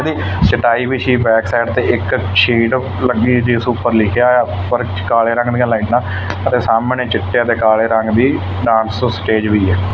ਚਟਾਈ ਵਿੱਛੀ back side ਤੇ ਇੱਕ ਸ਼ੀਟ ਲਗੀ ਦੀ ਜਿਸ ਉੱਪਰ ਲਿਖਿਆ ਹੋਇਆ ਫਰਸ਼ ਕਾਲੇ ਰੰਗ ਦੀਆਂ ਲਾਈਨਾ ਅਤੇ ਸਾਹਮਣੇ ਚਿੱਟੇ ਤੇ ਕਾਲੇ ਰੰਗ ਦੀ ਡਾਂਸ ਸਟੇਜ ਵੀ ਹੈ।